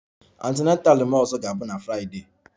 My ọzọ antenatal ga-abụ na Friday